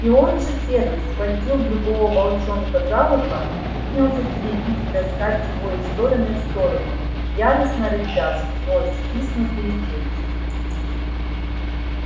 и он же первый схватил другого волчонка за ухо и принялся теребить и таскать его из стороны в сторону яростно рыча сквозь стиснутые челюсти